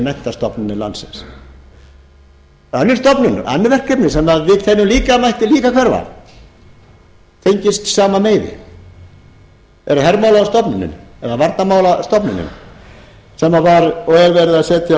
menntastofnanir landsins önnur stofnun eða önnur verkefni sem við teljum líka að mættu hverfa tengist sama meiði það er hermálastofnunin eða varnarmálastofnunin sem er verið